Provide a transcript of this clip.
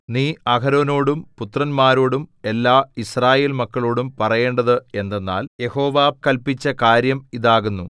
നീ അഹരോനോടും പുത്രന്മാരോടും എല്ലായിസ്രായേൽമക്കളോടും പറയേണ്ടത് എന്തെന്നാൽ യഹോവ കല്പിച്ച കാര്യം ഇതാകുന്നു